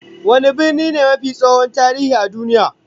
Wane birni ne mafi tsohon tarihi a duniya?